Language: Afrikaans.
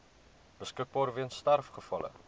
beskikbaar weens sterfgevalle